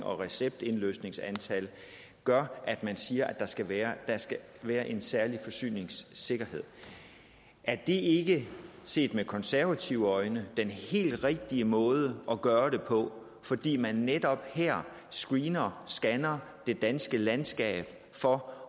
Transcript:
og receptindløsningsantal gør at man siger at der skal være være en særlig forsyningssikkerhed er det ikke set med konservative øjne den helt rigtige måde at gøre det på fordi man netop her screener scanner det danske landskab for